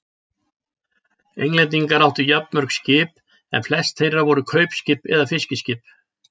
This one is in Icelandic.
Englendingar áttu jafnmörg skip en flest þeirra voru kaupskip eða fiskiskip.